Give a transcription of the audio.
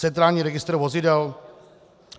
Centrální registr vozidel?